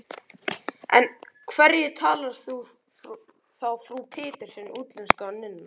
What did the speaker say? En af hverju talar þá frú Pettersson útlensku, og nunnurnar?